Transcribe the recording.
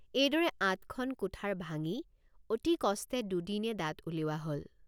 এইদৰে ৮খন কুঠাৰ ভাঙি অতি কষ্টে দুদিনে দাঁত উলিওৱা হল।